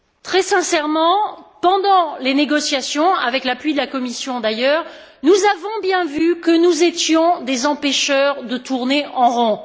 Très sincèrement, pendant les négociations avec l'appui de la Commission d'ailleurs nous avons bien vu que nous étions des empêcheurs de tourner en rond.